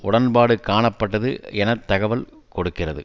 உடன்பாடு காணப்பட்டது என தகவல் கொடுக்கிறது